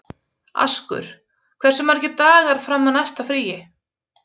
Askur, hversu margir dagar fram að næsta fríi?